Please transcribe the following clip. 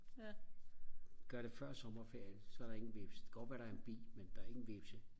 gør det før sommerferien så er der ingen hvepse det kan godt være der er en bi men der er ingen hvespe